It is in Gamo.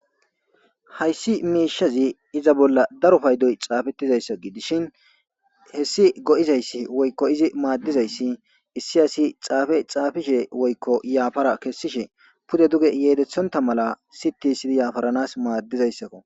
Hayssi miishshazi iza bolla daro paydoy xaafeththizayssa gidishin heyssi go7izayssi woykko izi maaddizayssi issi asi xaafe xaafishee woykko yaafara kessishe pude duge yedeththonththa mala siththissidi yafaranas maaddizayssakoo.